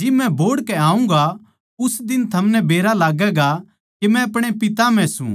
जिब मै बोहड़ के आऊँगा उस दिन थमनै बेरा लागैगा के मै अपणे पिता म्ह सूं